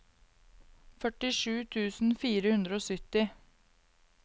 førtisju tusen fire hundre og sytti